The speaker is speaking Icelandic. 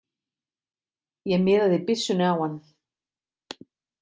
Ég miðaði byssunni á hann.